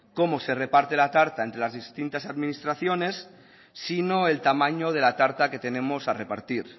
cómo se reparte la tarta entre las distintas administraciones sino el tamaño de la tarta que tenemos a repartir